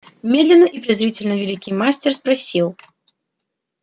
медленно и презрительно великий мастер спросил